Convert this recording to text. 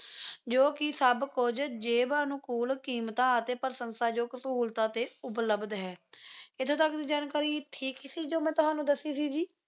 ਜੋ ਕਿ ਸਭ ਕੁਝ ਜੇਬ ਅਨੁਕੂਲ ਕੀਮਤਾਂ ਅਤੇ ਪ੍ਰਸ਼ੰਸਾ ਯੋਗ ਸਹੂਲਤਾਂ ਤੇ ਉਪਲਭਦ ਹੈ ਇੱਥੇ ਤੱਕ ਦੀ ਜਾਣਕਾਰੀ ਠੀਕ ਸੀ ਜੀ ਜੋ ਮੈਂ ਤੁਹਾਨੂੰ ਦੱਸੀ ਸੀ ਜੀ